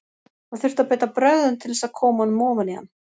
Það þurfti að beita brögðum til þess að koma honum ofan í hann.